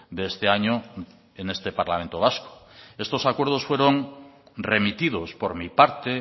de este año en este parlamento vasco estos acuerdos fueron remitidos por mi parte